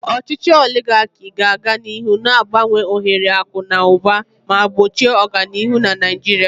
Ochichi oligaki ga-aga n'ihu na-abawanye ohere akụ na ụba ma gbochie ọganihu na Naijiria.